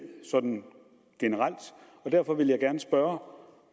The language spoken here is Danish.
sådan generelt og derfor vil jeg gerne spørge om